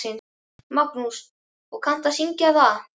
Magnús: Og kanntu að syngja það?